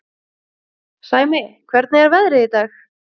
Sæmi, hvernig er veðrið í dag?